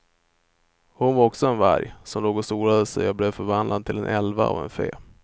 Hon var också en varg, som låg och solade sig och blev förvandlad till en älva av en fe.